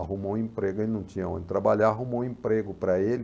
Arrumou um emprego, ele não tinha onde trabalhar, arrumou um emprego para ele,